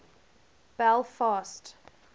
belfast